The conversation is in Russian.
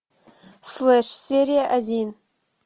флэш серия один